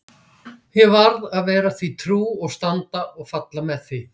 Ég varð að vera því trú og standa og falla með því.